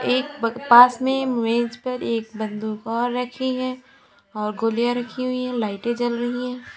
एक पास में मेज पर एक बंदूक और रखी है और गोलियाँ रखी हुई हैं लाइटें जल रही हैं।